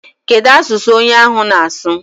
Kedụ asụsụ onye ahụ na-asụ?